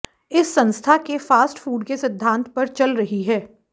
इस संस्था के फास्ट फूड के सिद्धांत पर चल रही है